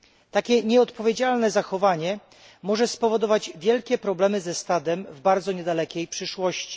Takie nieodpowiedzialne zachowanie może spowodować wielkie problemy ze stadem w bardzo niedalekiej przyszłości.